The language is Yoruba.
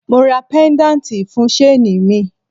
Mo ra pedanti fun shaini mi